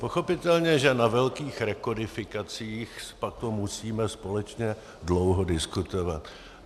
Pochopitelně že na velkých rekodifikacích potom musíme společně dlouho diskutovat.